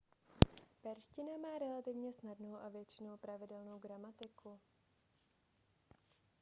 perština má relativně snadnou a většinou pravidelnou gramatiku